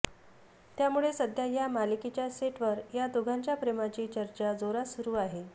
त्यामुळे सध्या या मालिकेच्या सेटवर या दोघांच्या प्रेमाची चर्चा जोरात सुरू आहे